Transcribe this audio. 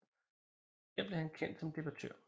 Her blev han kendt som debattør